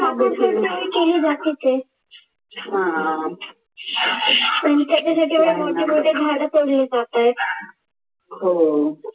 केली जातेच आहे आणि त्याच्यासाठी एवढे मोठे मोठे झाड तोडले जात आहे